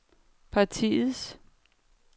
partiets